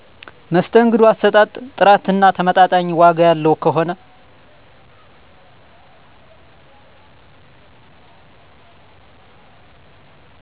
መስተንግዶ አሰጣጥ፣ ጥራትና ተመጣጣኝ ዋጋ ያለው ከሆነ